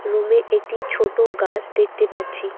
রুমে একটি ছোটো গাছ দেখতে পাচ্ছি।